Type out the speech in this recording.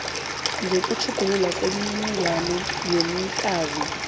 sokutjhuguluka kwemininingwana yomnikazi